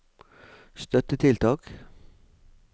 støttetiltak